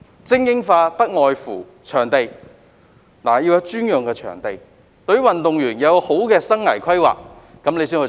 這方面不外乎場地，要有專用場地，以及協助運動員做好生涯規劃，才能做到精英化。